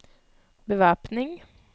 bevæpning